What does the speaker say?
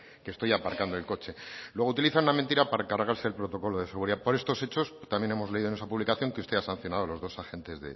que estoy aparcando el coche luego utiliza una mentira para cargarse el protocolo de seguridad por estos hechos también hemos leído en esa publicación que usted ha sancionado a los dos agentes